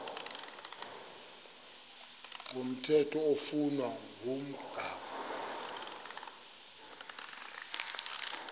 komthetho oflunwa ngumgago